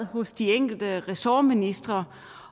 hos de enkelte ressortministre